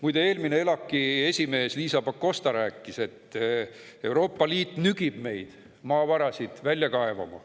Muide, eelmine ELAK‑i esimees Liisa Pakosta rääkis, et Euroopa Liit nügib meid maavarasid välja kaevama.